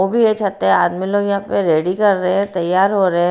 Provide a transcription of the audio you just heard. वो भी यही चाहते हैं आदमी लोग यहाँ पे रेडी कर रहे हैं तयार हो रहे हैं।